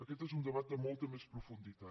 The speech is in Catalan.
aquest és un debat de molta més profunditat